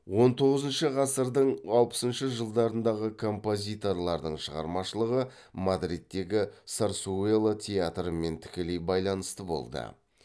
он тоғызыншы ғасырдың алпысыншы жылдарындағы композиторлардың шығармашылығы мадридтегі сарсуэла театрымен тікелей байланысты болды